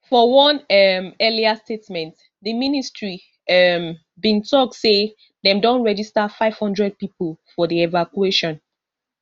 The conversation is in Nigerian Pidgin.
for one um earlier statement di ministry um bin tok say dem don register five hundred pipo for di evacuation